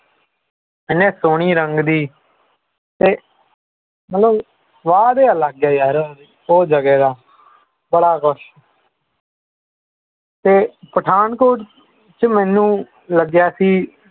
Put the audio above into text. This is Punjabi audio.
ਏਨੇ ਸੋਹਣੇ ਰੰਗ ਦੀ ਤੇ ਮਤਲਬ ਸੁਆਦ ਹੀ ਅਲਗ ਹੈ ਉਹ ਜਗਾ ਦਾ ਬੜਾ ਕੁਝ ਤੇ Pathankot ਚ ਮੈਨੂੰ ਲੱਗਿਆ ਸੀ